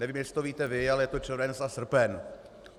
Nevím, jestli to víte vy, ale je to červenec a srpen.